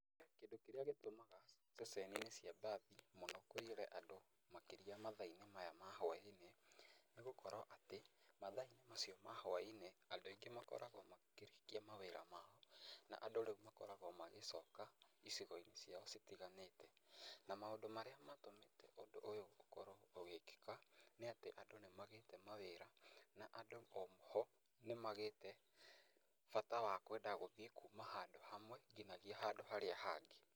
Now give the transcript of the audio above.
Kĩndũ kĩrĩa gĩtũmaga ceceni~inĩ cia mbathi mũno kũiyũre andũ makĩria mathaa~inĩ maya ma hwainĩ nĩgũkorwo atĩ mathaa~inĩ macio ma hwainĩ andũ aingĩ makoragwo makĩrĩkia mawĩra mao. Na andũ rĩu makoragwo magĩcoka icigo~inĩ cia citiganĩte. Na maũndũ marĩa matũmĩte ũndũ ũyũ ũkorwo ũgĩkĩka nĩ atĩ andũ nĩ magĩte mawĩra na andũ oho nĩ magĩte bata wakwenda gũthiĩ kuma handũ hamwe nginyagia handũ harĩa hangĩ.